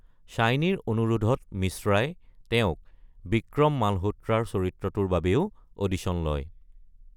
শ্বাইনীৰ অনুৰোধত মিশ্ৰাই তেওঁক বিক্ৰম মালহোত্ৰাৰ চৰিত্ৰটোৰ বাবেও অডিশ্যন লয়।